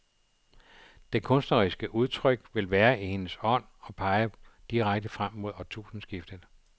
Det kunstneriske udtryk vil være i hendes ånd og pege direkte frem mod årtusindeskiftet.